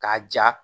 K'a ja